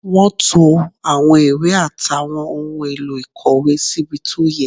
Wọ́n to àwọn ìwé àtàwọn ohun èlò ìkọ̀wé síbi tó yẹ